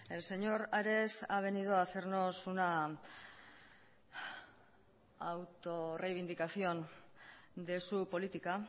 el señor ares ha venido a hacernos una autorreivindicación de su política